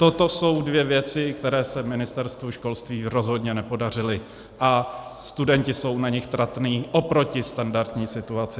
Toto jsou dvě věci, které se Ministerstvu školství rozhodně nepodařily, a studenti jsou na nich tratní oproti standardní situaci.